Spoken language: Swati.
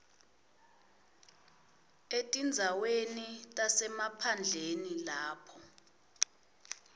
etindzaweni tasemaphandleni lapho